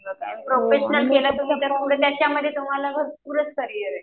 आणि प्रोफेशनल केलं म्हणजे त्याच्यामध्ये तुम्हाला भरपूरच करियर आहे.